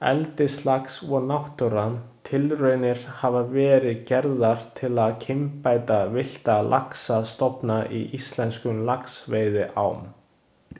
Eldislax og náttúran Tilraunir hafa verið gerðar til að kynbæta villta laxastofna í íslenskum laxveiðiám.